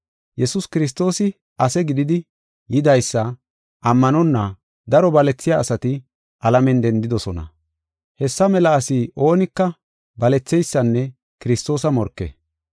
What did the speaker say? Yesuus Kiristoosi ase gididi yidaysa ammanonna, daro balethiya asati, alamen dendidosona. Hessa mela asi oonika baletheysanne Kiristoosa morke.